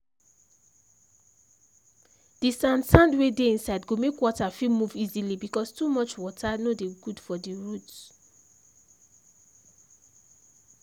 the sand sand wey dey inside go make water fit move easily because too much water no dey good for the roots.